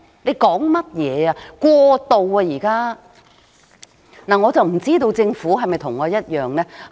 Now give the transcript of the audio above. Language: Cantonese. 對於過渡房屋，我不知道政府的看法是否跟我一樣。